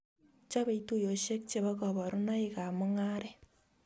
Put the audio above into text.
Chopei tuyosiek che bo kaborunoikab mungaret